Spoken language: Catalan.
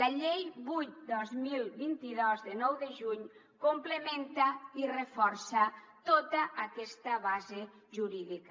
la llei vuit dos mil vint dos de nou de juny complementa i reforça tota aquesta base jurídica